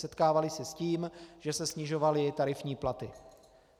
Setkávali se s tím, že se snižovaly tarifní platy.